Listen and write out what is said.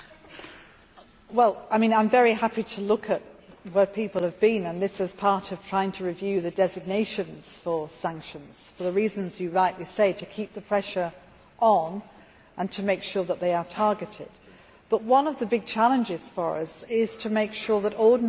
I am very happy to look at where people have been and this is part of trying to review the designations for sanctions, for the reasons you rightly say to keep the pressure on and to make sure that they are targeted. But one of the big challenges for us is to make sure that ordinary people are not